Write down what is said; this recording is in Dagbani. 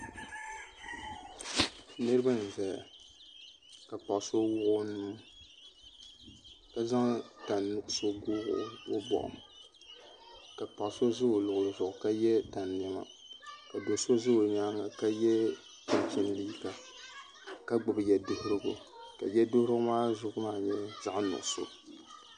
Nuraba n ʒɛya ka paɣa so wuɣi o nuu ka zaŋ tani nuɣso n bob o boɣu ka paɣa so ʒɛ o nyaanga ka yɛ tani niɛma ka do so ʒɛ o nyaanga ka yɛ chinchin liiga ka gbubi yɛduɣurigu ka yɛduɣurigu maa zuɣu maa nyɛ zaɣ nuɣso